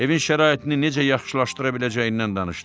Evin şəraitini necə yaxşılaşdıra biləcəyindən danışdı.